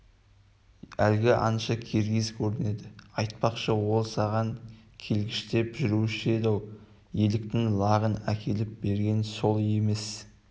әлгі аңшы киргиз көрінеді айтпақшы ол саған келгіштеп жүруші еді-ау еліктің лағын әкеліп берген сол емес